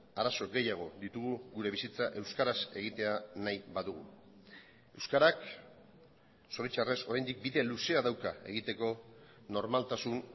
arazo gehiago ditugu gure bizitza euskaraz egitea nahi badugu euskarak zoritxarrez oraindik bide luzea dauka egiteko normaltasun